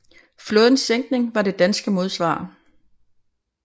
Flådens sænkning var det danske modsvar